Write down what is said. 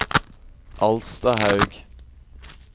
Alstahaug